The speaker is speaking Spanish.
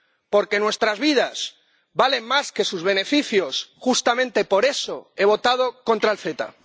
Porque nuestras vidas valen más que sus beneficios, justamente por eso, he votado contra el CETA.